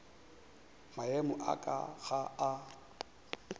maemo a ka ga a